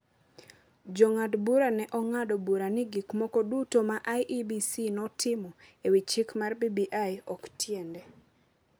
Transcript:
Jong'ad bura ne ong’ado bura ni gik moko duto ma IEBC notimo e wi chik mar BBI ok tiende.